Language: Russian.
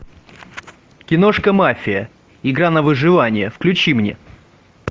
киношка мафия игра на выживание включи мне